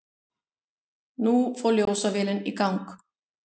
Nú fór ljósavélin í gang.